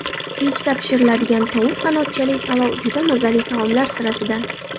Pechda pishiriladigan tovuq qanotchali palov juda mazali taomlar sirasidan.